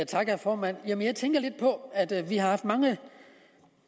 tak herre formand jeg tænker på at vi har haft mange